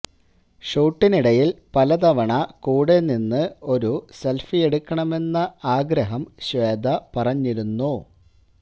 ഷൂട്ടിനിടയില് പല തവണ കൂടെ നിന്ന് ഒരു സെല്ഫിയെടുക്കണമെന്ന ആഗ്രഹം ശ്വേത പറഞ്ഞിരുന്നു